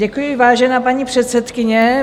Děkuji, vážená paní předsedkyně.